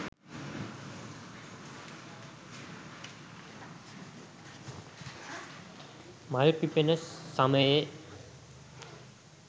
මල් පිපෙන සමයේ